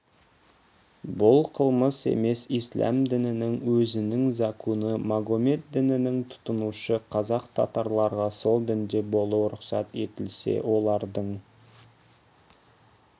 бұл қылмыс емес исләм дінінің өзінің закуні магомет дінін тұтынушы қазақ татарларға сол дінде болу рұқсат етілсе олардың